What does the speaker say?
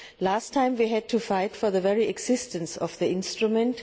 Last time we had to fight for the very existence of the instrument.